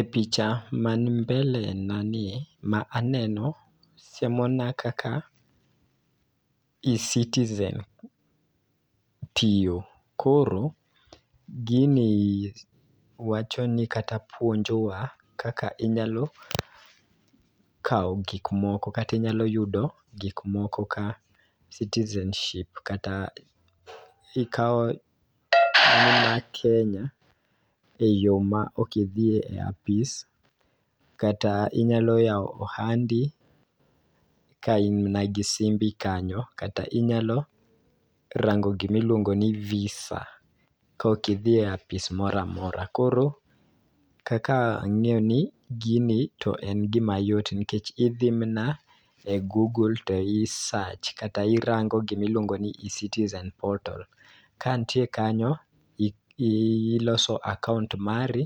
E picha mani mbele nani ma aneno siemo na kaka e-citizen tiyo. Koro gini wacho ni kata puonjowa kaka inyalo kawo gik moko kati nyalo yudo gik moko ka citizenship kata ikawo kenya e yo ma ok idhi e apis, kata inyalo yawo ohandi ka in na gi simbi kanyo kata inyalo rango gimi luongo ni visa mokidhi a apis moramora. Koro kaka ang'e ni gini en gima yot nikech idhi mana e google to i search kata irango gimiluongo ni ecitizen portal .Ka ntie kanyo iloso akaunt mari